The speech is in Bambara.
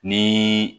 Ni